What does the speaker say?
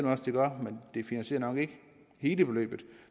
også det gør men det finansierer nok ikke hele beløbet